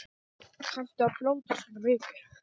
Kanntu að blóta svona mikið?